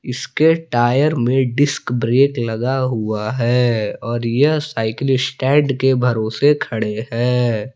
इसके टायर में disc brake लगा हुआ है और यह साइकिल स्टैंड के भरोसे खड़े है।